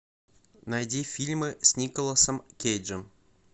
найди фильмы с николасом кейджем